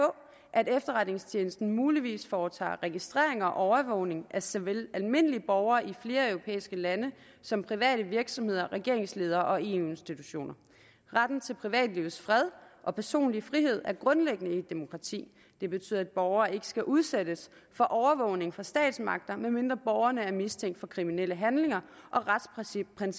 at efterretningstjenesten muligvis foretager registreringer og overvågning af såvel almindelige borgere i flere europæiske lande som private virksomheder regeringsledere og eu institutioner retten til privatlivets fred og personlig frihed er grundlæggende i et demokrati det betyder at borgere ikke skal udsættes for overvågning fra statsmagter medmindre borgerne er mistænkt for kriminelle handlinger og retsprincipperne